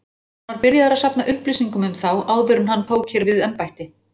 Hann var byrjaður að safna upplýsingum um þá, áður en hann tók hér við embætti.